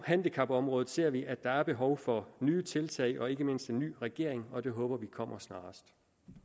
handicapområdet ser vi at der er behov for nye tiltag og ikke mindst en ny regering og det håber vi kommer snarest